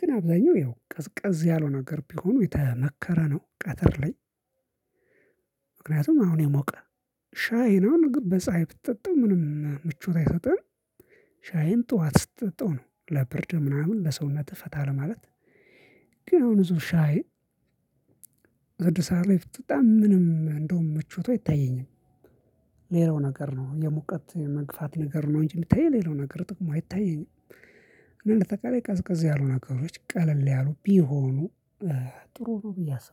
ግን አብዛኛው ያው ቀዝቀዝ ያለው ነገር ቢሆኑ የተመከረ ነው ቀትር ላይ። ምክንያቱም አሁን የሞቀ ሻይን አሁን በፀሀይ ብጠጣው ምቾት አይሰጥህም። ሻይን ጥዋት ስትጠጣው ነው ለብርድ ምናምን ለሰውነትህ ፈታ ለማለት። ግን አሁን እዝው ሻይ ስድስት ሰዓት ላይ ብጠጣ ምንም እንደውም ምቾት አይታየኝም። ሌላው ነገር ነው የሙቀት መግፋት ነገር ነው እንጂ ሚታየኝ ሌላው ነገር ጥቅሙ አይታየኝም። እና እንዳጠቃላይ ቀዝቀዝ ያሉ ነገሮች ቀለል ያሉ ቢሆኑ ጥሩ ነው ብዬ አስባለሁ